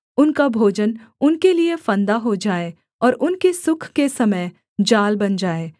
उनका भोजन उनके लिये फंदा हो जाए और उनके सुख के समय जाल बन जाए